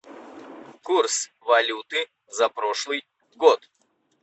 курс валюты за прошлый год